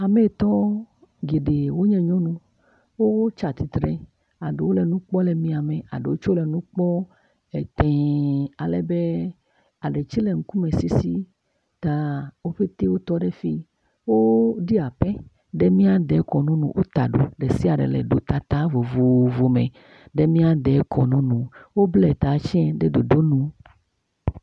Hametɔ geɖe wonye nyɔnu, wotsa tsitre aɖewo le nu kpɔm le mia me, aɖewo tsɛ le nu etee alebe eɖewo tsɛ le ŋkusese ta, wo bete wo tɔ ɖe fii, woɖi apɛ ɖe mía de kɔnu nu, wota ɖo, ɖe sia ɖe le ɖotata vovovo me ɖe mia de kɔnu nu, wobla ta tsɛ ɖe ɖoɖo nu.